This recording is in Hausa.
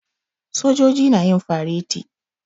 Sojoji na yin fareti.